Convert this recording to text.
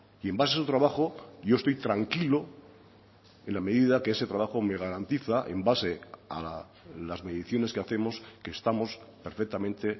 y en base a su trabajo yo estoy tranquilo en la medida que ese trabajo me garantiza en base a las mediciones que hacemos que estamos perfectamente